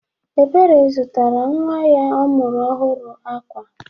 Ebere zụtara nnwa ya ọ mụrụ ọhụrụ akwa